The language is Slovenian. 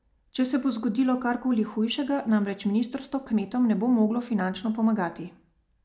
Če se bo zgodilo karkoli hujšega, namreč ministrstvo kmetom ne bo moglo finančno pomagati.